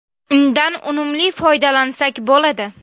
Undan unumli foydalansak bo‘ladi.